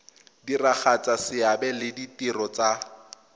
diragatsa seabe le ditiro tsa